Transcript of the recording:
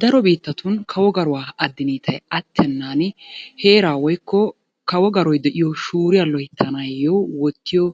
Daro biittatun kawo garuwa addiniitay attennaani heeraa woykko kawo garoy de'iyo shuuriya loyttanaayyo wottiyo